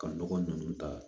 Ka nɔgɔ ninnu ta